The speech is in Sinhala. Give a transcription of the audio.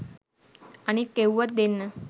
අනික් එව්වත් දෙන්න